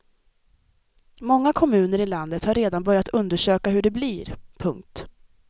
Många kommuner i landet har redan börjat undersöka hur det blir. punkt